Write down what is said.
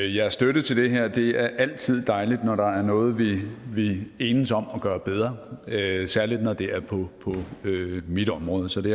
jeres støtte til det her det er altid dejligt når der er noget vi vi enes om at gøre bedre særlig når det er på mit område så det